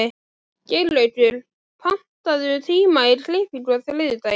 Geirlaugur, pantaðu tíma í klippingu á þriðjudaginn.